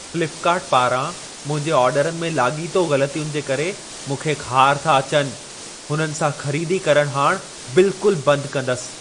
Flipkart पारां मुंहिंजे ऑडरनि में लाॻीतो ग़लतियुनि जे करे मूंखे ख़ार था अचनि। हुननि सां ख़रीदी करणु हाणि बिल्कुल बंदि कंदसि।